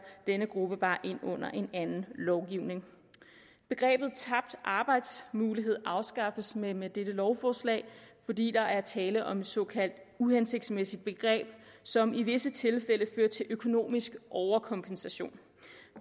den gruppe bare ind under en anden lovgivning begrebet tabt arbejdsmulighed afskaffes med med dette lovforslag fordi der er tale om et såkaldt uhensigtsmæssigt begreb som i visse tilfælde fører til en økonomisk overkompensation